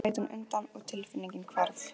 Þá leit hún undan og tilfinningin hvarf.